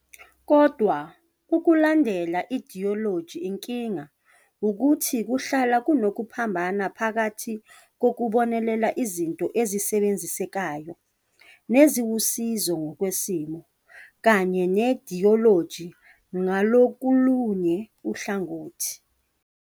Kodwa ukulandela i-idiyoloji inkinga wukuthi kuhlala kunokuphambana phakathi kokubonelela izinto ezisebenzisekayo neziwusizo ngokwesimo, kanye ne-idiyoloji ngakolunye uhlangothi.